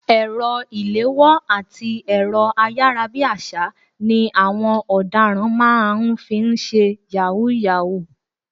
Ẹ̀rọ ìléwọ́ àti ẹ̀rọ ayárabíàṣá ni àwọn ọ̀daràn máa ń fi ń ṣe yahoo yahoo.